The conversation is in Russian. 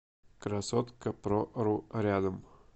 красоткапрору рядом